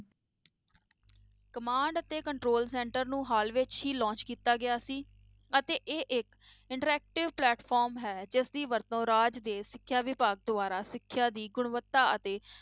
Command ਅਤੇ control center ਨੂੰ ਹਾਲ ਵਿੱਚ ਹੀ launch ਕੀਤਾ ਗਿਆ ਸੀ ਅਤੇ ਇਹ ਇੱਕ interactive platform ਹੈ ਜਿਸਦੀ ਵਰਤੋਂ ਰਾਜ ਦੇ ਸਿੱਖਿਆ ਵਿਭਾਗ ਦੁਆਰਾ ਸਿੱਖਿਆ ਦੀ ਗੁਣਵਤਾ ਅਤੇ